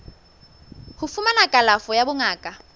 ho fumana kalafo ya bongaka